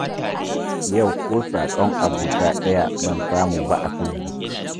Yau ko saƙon abota ɗaya ban samu ba a facebook.